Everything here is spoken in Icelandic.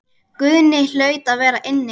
Guðni hlaut að vera inni.